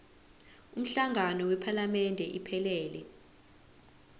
umhlangano wephalamende iphelele